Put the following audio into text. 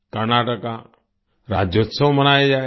कर्नाटका राज्योत्सव मनाया जाएगा